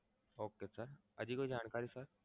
okay sir હજી કોઈ જાણકારી sir?